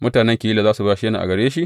Mutanen Keyila za su bashe ni a gare shi?